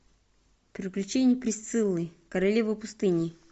приключения присциллы королевы пустыни